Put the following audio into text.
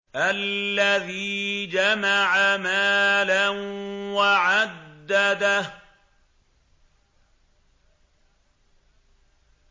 الَّذِي جَمَعَ مَالًا وَعَدَّدَهُ